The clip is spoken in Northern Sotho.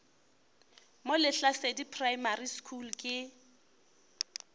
mo lehlasedi primary school ke